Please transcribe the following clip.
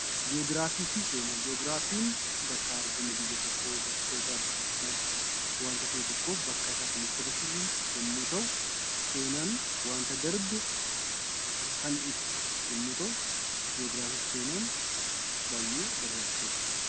Ji'ogiraafii fi seenaa: Ji'ogiraafiin bakka argama biyya tokkoo, bakkoota adda addaa waanta ta'e tokko bakka isaa kan nutti argamsiisu yommuu ta'u, seenaan waanta darbe kan ibsu yommuu ta'u, ji'ogiraafii fi seenaan baay'ee barbaachisoodha.